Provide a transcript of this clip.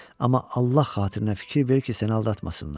Amma Allah xatirinə fikir ver ki, səni aldatmasınlar.